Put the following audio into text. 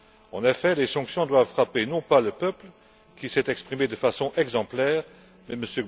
En effet, les sanctions doivent frapper non pas le peuple, qui s'est exprimé de façon exemplaire, mais M.